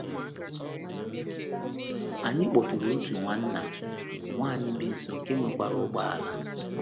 Anyị kpọtụụrụ otu nwanna nwanyị bi nso nke nwekwara ụgbọala.